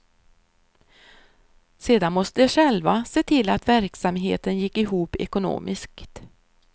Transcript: Sedan måste de själva se till att verksamheten gick ihop ekonomiskt.